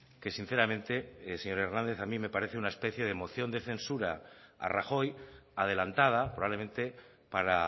que sinceramente señor hernández a mí me parece una especie de moción de censura a rajoy adelantada probablemente para